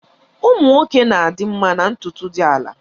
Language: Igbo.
Ụmụ nwoke na-adị mma na ntutu dị ala.